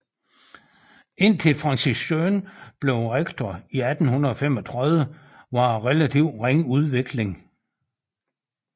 Indtil Francis Jeune blev rektor i 1835 var der relativt ringe udvikling